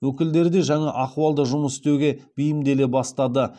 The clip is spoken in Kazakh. өкілдері де жаңа ахуалда жұмыс істеуге бейімделе бастады